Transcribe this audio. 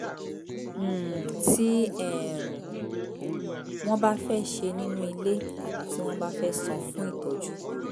um tí um wọ́n bá fẹ́ ṣe nínú ile tàbí tí wọ́n bá fẹ́ san fún ìtọ́jú